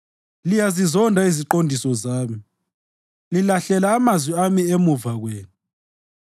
Liyazizonda iziqondiso zami, lilahlela amazwi ami emuva kwenu.